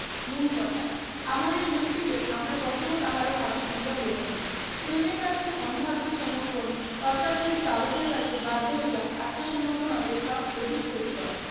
মূলকথা, আমাদের যুক্তিকে আমরা কখনো কাহারো হাতে তুলিয়া দেবো না। প্রেমের কাছে অন্ধ আত্মসমর্পণ অত্যাচারী চাবুকের কাছে বাধ্য হইয়া আত্মসমর্পণ অপেক্ষা অধিক ক্ষতিকর।